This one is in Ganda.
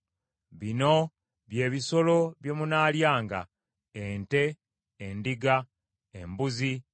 Bino bye bisolo bye munaalyanga: ente, endiga, embuzi,